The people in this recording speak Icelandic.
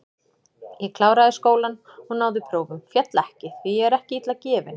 Ég kláraði skólann og náði prófum, féll ekki, því ég er ekki illa gefinn.